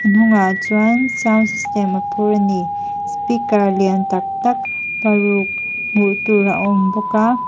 hnungah chuan sound system a phur a ni speaker lian tak tak paruk hmu tur a awm bawk a--